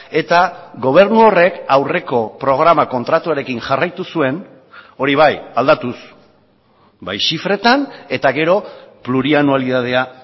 eta gobernu horrek aurreko programa kontratuarekin jarraitu zuen hori bai aldatuz bai zifretan eta gero plurianualitatea